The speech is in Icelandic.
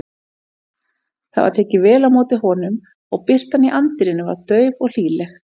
Það var tekið vel á móti honum og birtan í anddyrinu var dauf og hlýleg.